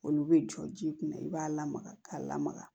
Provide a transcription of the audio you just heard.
Olu bɛ jɔ ji kun na i b'a lamaga k'a lamaga